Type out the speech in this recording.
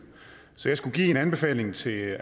så jeg skulle give en anbefaling til